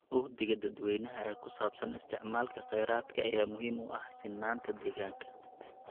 Uhdhigga dadweynaha ee ku saabsan isticmaalka khayraadka ayaa muhiim u ah sinnaanta deegaanka.